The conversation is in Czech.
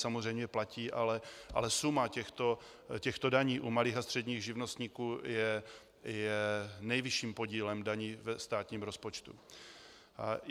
Samozřejmě platí, ale suma těchto daní u malých a středních živnostníků je nejvyšším podílem daní ve státním rozpočtu.